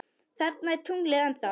Þarna er tunglið ennþá.